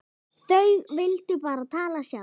Þau vildu bara tala sjálf.